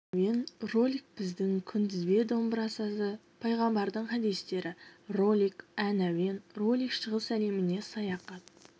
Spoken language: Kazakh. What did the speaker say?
ән әуен ролик біздің күнтізбе домбыра сазы пайғамбардың хадистері ролик ән әуен ролик шығыс әлеміне саяхат